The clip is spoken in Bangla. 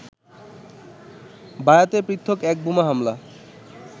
বায়াতে পৃথক এক বোমা হামলায়